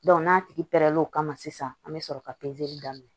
n'a tigi pɛrɛnn'o kama sisan an bɛ sɔrɔ ka daminɛ